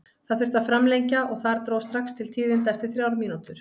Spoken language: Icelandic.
Það þurfti að framlengja og þar dró strax til tíðinda eftir þrjár mínútur.